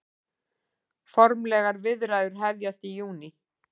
Formlegar viðræður hefjast í júní